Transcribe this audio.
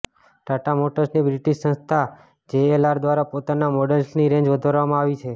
ટાટા મોટર્સની બ્રિટિશ સંસ્થા જેએલઆર દ્વારા પોતાના મોડલ્સની રેન્જ વધારવામાં આવી છે